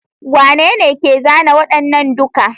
Wanene ke zana waɗannan duka?